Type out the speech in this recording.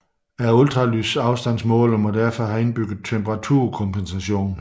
Ultralydsafstandsmåleren derfor må have indbygget temperaturkompensation